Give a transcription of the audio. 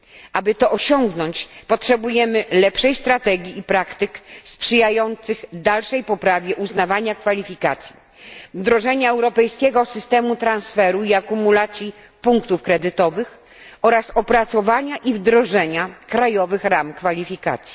Aby to osiągnąć, potrzebujemy lepszej strategii i praktyk sprzyjających dalszej poprawie uznawania kwalifikacji, wdrożenia europejskiego systemu transferu i akumulacji punktów kredytowych oraz opracowania i wdrożenia krajowych ram kwalifikacji.